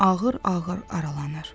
Ağır-ağır aralanır.